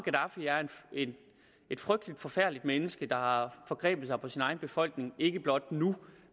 er et forfærdeligt menneske der har forgrebet sig på sin egen befolkning ikke blot nu